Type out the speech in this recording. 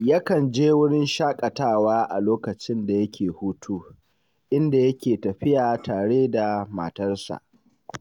Yakan je wurin shaƙatawa a lokacin da yake hutu, inda yake tafiya tare da matarsa